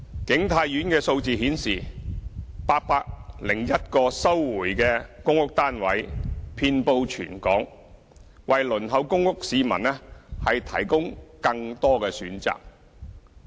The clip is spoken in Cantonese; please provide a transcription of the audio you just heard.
景泰苑的數字顯示 ，801 個收回的公屋單位遍布全港，為輪候公屋市民提供更多的選擇。